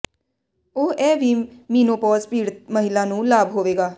ਉਹ ਇਹ ਵੀ ਮੀਨੋਪੌਜ਼ ਪੀੜਤ ਮਹਿਲਾ ਨੂੰ ਲਾਭ ਹੋਵੇਗਾ